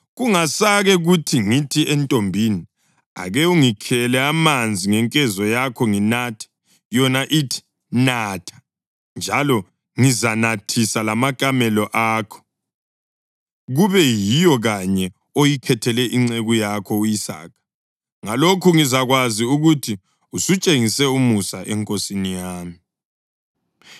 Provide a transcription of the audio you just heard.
Kungasake kuthi ngingathi entombini, ‘Ake ungikhele amanzi ngenkezo yakho nginathe,’ yona ithi, ‘Natha, njalo ngizanathisa lamakamela akho,’ kube yiyo kanye oyikhethele inceku yakho u-Isaka. Ngalokho ngizakwazi ukuthi usutshengise umusa enkosini yami.”